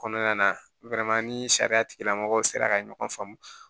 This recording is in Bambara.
Kɔnɔna na ni sariya tigilamɔgɔw sera ka ɲɔgɔn faamu